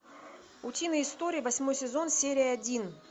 утиные истории восьмой сезон серия один